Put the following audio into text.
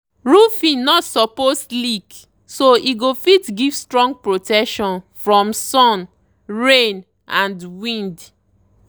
roofing no suppose leak so e go fit give strong protection from sun rain and wind.